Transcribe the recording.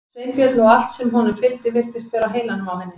Sveinbjörn og allt sem honum fylgdi virtist vera á heilanum á henni.